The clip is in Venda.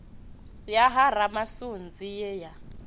ya ha ramasunzi ye ya